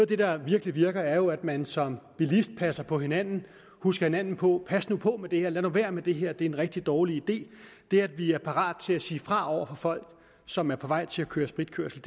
det der virkelig virker er jo at man som bilist passer på hinanden og husker hinanden på pas nu på med det her lad nu være med det her det er en rigtig dårlig idé det at vi er parate til at sige fra over for folk som er på vej til at køre spritkørsel